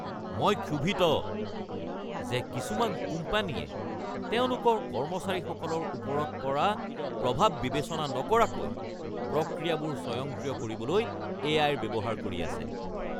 মই ক্ষোভিত যে কিছুমান কোম্পানীয়ে তেওঁলোকৰ কৰ্মচাৰীসকলৰ ওপৰত পৰা প্ৰভাৱ বিবেচনা নকৰাকৈ প্ৰক্ৰিয়াবোৰ স্বয়ংক্ৰিয় কৰিবলৈ এ.আই.-ৰ ব্যৱহাৰ কৰি আছে।